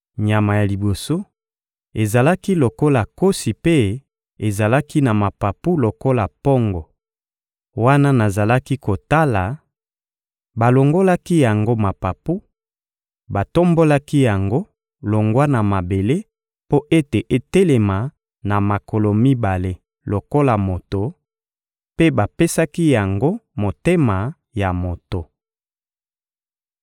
Nyama ya liboso ezalaki lokola nkosi mpe ezalaki na mapapu lokola mpongo. Wana nazalaki kotala, balongolaki yango mapapu, batombolaki yango longwa na mabele mpo ete etelema na makolo mibale lokola moto; mpe bapesaki yango motema ya moto.